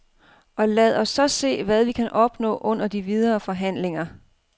Og lad os så se, hvad vi kan opnå under de videre forhandlinger.